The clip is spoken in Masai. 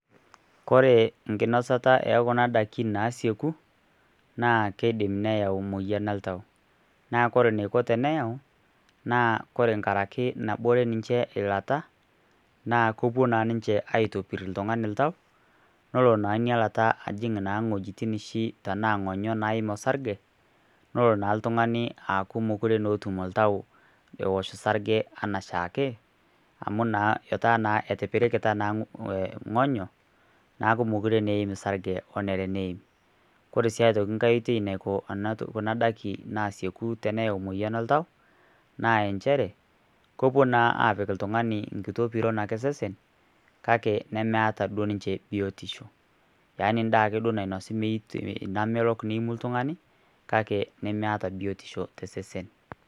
Kore enkinosata ekuna daikin naasieku naa keidin neyau moyian oltau naa ore pee eyau naa nkaraki nabore ninche eilta naa kepuo naa ninche aitopir oltung'ani oltau yiolo naa inailata nepuoo naa ajing oltung'ani enaa ing'onyo naim orsarge nelo naa oltung'ani aaku meekure etum oltau ewosh sarge enaaake amu etaa naa etipirikita naa ing'onyo neeku meekure naa eim sarge, kore sii aitoki nkae toki naiko kuna daiki naasieku teneyau moyain oltau naa inchere kepuo naa apik oltung'ani enkae piron osesen kake nemeeta duo ninche biotisho yaani daa ake nainosi oltung'ani kake nemeeta biotisho tosesen.